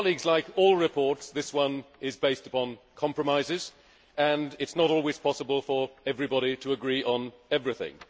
Like all reports, this one is based on compromises, and it is not always possible for everybody to agree on everything.